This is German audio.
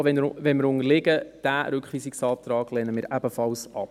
Auch wenn wir unterliegen: Diesen Rückweisungsantrag lehnen wir ebenfalls ab.